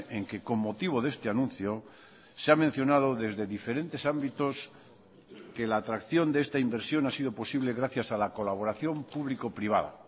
en que con motivo de este anuncio se ha mencionado desde diferentes ámbitos que la atracción de esta inversión ha sido posible gracias a la colaboración público privada